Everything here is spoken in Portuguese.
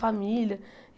Família.